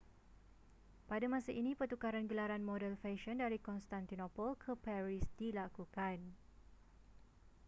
pada masa ini pertukaran gelaran model fesyen dari constantinople ke paris dilakukan